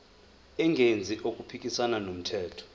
engenzi okuphikisana nomthetho